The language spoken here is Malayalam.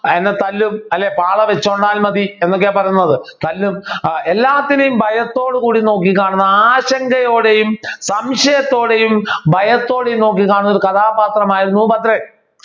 എന്നെ തല്ലും അല്ലെങ്കിൽ പാള വച്ചുകൊണ്ടാൽ മതി എന്നൊക്കെ പറഞ്ഞത് തല്ലും ഏർ എല്ലാത്തിനെയും ഭയത്തോടു കൂടി നോക്കിക്കാണുന്ന ആശങ്കയോടെയും സംശയത്തോടെയും ഭയത്തോടെയും നോക്കിക്കാണുന്ന ഒരു കഥാപാത്രമായിരുന്നു ഭദ്രൻ